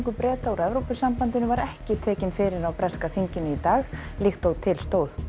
Breta úr Evrópusambandinu var ekki tekinn fyrir á breska þinginu í dag líkt og til stóð